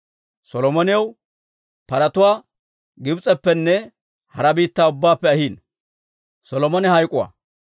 Solomonaw paratuwaa Gibs'eppenne hara biittaa ubbaappe ahiino.